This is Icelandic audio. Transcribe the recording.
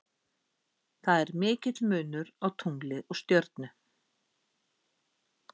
Það er mikill munur á tungli og stjörnu.